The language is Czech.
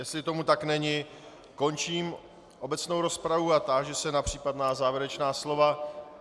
Jestli tomu tak není, končím obecnou rozpravu a táži se na případná závěrečná slova.